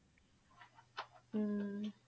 ਹਮ